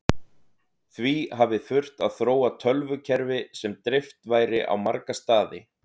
Því hafi þurft að þróa tölvukerfi sem dreift væri á marga staði.